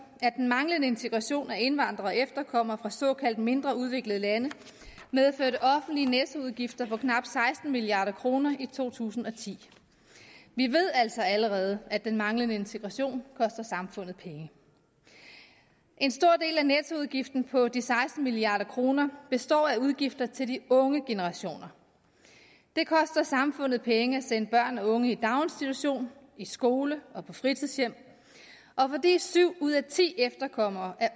at den manglende integration af indvandrere og efterkommere fra såkaldt mindre udviklede lande medførte offentlige nettoudgifter for knap seksten milliard kroner i to tusind og ti vi ved altså allerede at den manglende integration koster samfundet penge en stor del af nettoudgiften på de seksten milliard kroner består af udgifter til de unge generationer det koster samfundet penge at sende børn og unge i daginstitution i skole og på fritidshjem og fordi syv ud af ti efterkommere er